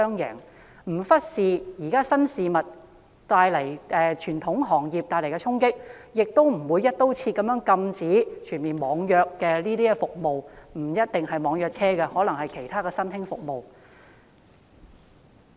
就是不忽視現時新興經濟對傳統行業帶來的衝擊，亦不會"一刀切"禁止網約服務——不一定是網約車，可能是其他新興服務。